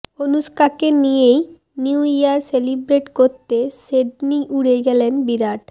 অনুষ্কাকে নিয়েই new year celebrate করতে Sydney উড়ে গেলেন বিরাট